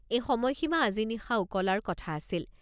এই সময়সীমা আজি নিশা উকলাৰ কথা আছিল।